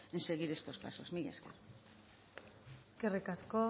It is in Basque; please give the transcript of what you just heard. en seguir estos pasos mila esker eskerrik asko